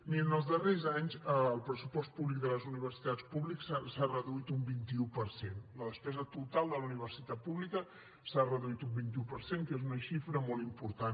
mirin els darrers anys el pressupost públic de les universitats públiques s’ha reduït un vint un per cent la despesa total de la universitat pública s’ha reduït un vint un per cent que és una xifra molt important